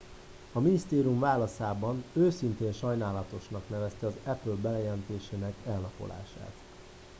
"a minisztérium válaszában "őszintén sajnálatosnak" nevezte az apple bejelentésének elnapolását.